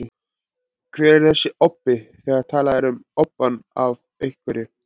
Hver er þessi obbi, þegar talað er um obbann af einhverju?